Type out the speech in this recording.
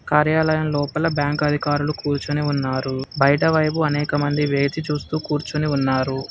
కార్యాలయం లోపల బ్యాంక్ అధికారులు కూర్చుని ఉన్నారు బయట వైపు అనేకమంది వేచి చూస్తూ కూర్చుని ఉన్నారు.